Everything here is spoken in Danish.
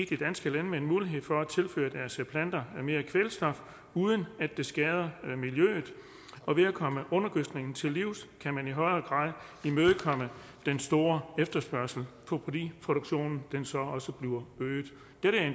de danske landmænd mulighed for at tilføre deres planter mere kvælstof uden at det skader miljøet og ved at komme undergødskningen til livs kan man i højere grad imødekomme den store efterspørgsel fordi produktionen så også bliver øget